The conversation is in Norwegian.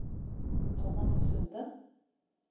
Tomas Sunde